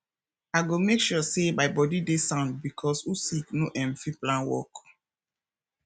i go mek sure say my body dey sound bikos who sick no um fit plan work